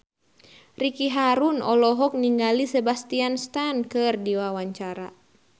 Ricky Harun olohok ningali Sebastian Stan keur diwawancara